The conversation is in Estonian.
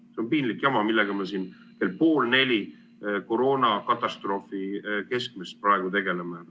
See on piinlik jama, millega me siin kell pool neli öösel koroonakatastroofi keskmes praegu tegeleme.